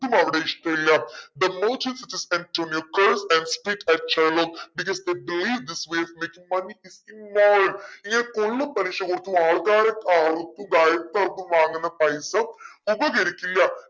അവനെ ഇഷ്ട്ടില്ല making money is immoral ഇങ്ങനെ കൊള്ളപ്പലിശ കൊടുത്തും ആൾക്കാരെ വാങ്ങുന്ന പൈസ ഉപകരിക്കില്ല